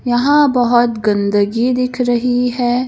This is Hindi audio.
यहां बहोत गंदगी दिख रही है।